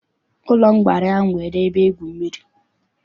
Ụlọ nkwari ahụ nwere ebe igwu mmiri.